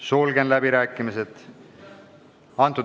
Sulgen läbirääkimised.